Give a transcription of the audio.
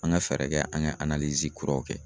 An ka fɛɛrɛ kɛ an ka kuraw kɛ.